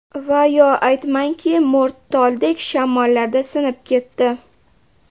Va yo aytmangki, mo‘rt toldek, Shamollarda sinib ketdi.